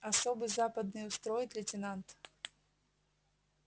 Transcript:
особый западный устроит лейтенант